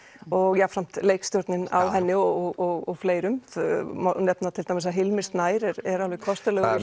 og jafnframt leikstjórnin á henni og fleirum það má nefna til dæmis að Hilmir Snær er alveg kostulegur